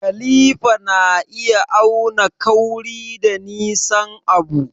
Kalifa na iya auna kauri da nisan abu.